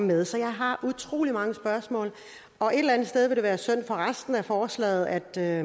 med så jeg har utrolig mange spørgsmål og et eller andet sted vil det være synd for resten af forslaget at det er